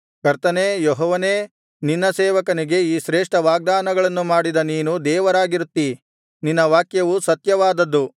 ಕರ್ತನೇ ಯೆಹೋವನೇ ನಿನ್ನ ಸೇವಕನಿಗೆ ಈ ಶ್ರೇಷ್ಠ ವಾಗ್ದಾನಗಳನ್ನು ಮಾಡಿದ ನೀನು ದೇವರಾಗಿರುತ್ತೀ ನಿನ್ನ ವಾಕ್ಯವು ಸತ್ಯವಾದದ್ದು